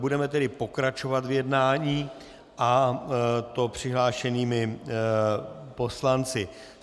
Budeme tedy pokračovat v jednání, a to přihlášenými poslanci.